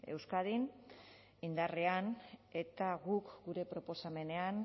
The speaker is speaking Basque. euskadin indarrean eta guk gure proposamenean